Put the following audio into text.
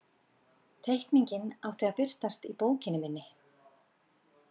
Teikningin átti að birtast í bókinni minni.